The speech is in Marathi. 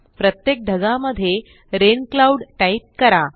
प्रत्येक ढगामध्ये रेन क्लाउड टाईप करा